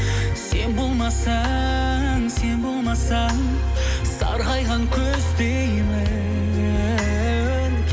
сен болмасаң сен болмасаң сарғайған күздеймін